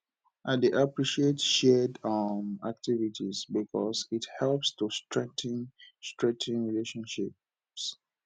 i dey appreciate shared um activities because it helps to strengthen strengthen relationships